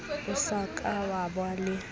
o sa ka waba le